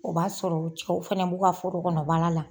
O b'a sɔrɔ cɛw fɛnɛ b'u ka foro kɔnɔ baara la.